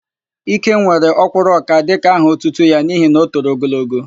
Ikem were Ọ́kwụ́rụ́ọka dịka aha otutu ya n'ihi na o toro ogologo.